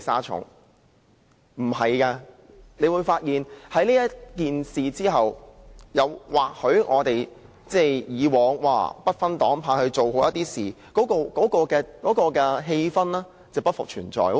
他們會發現經此一役，我們以往或許會不分黨派地把事情做好的氣氛將不復存在。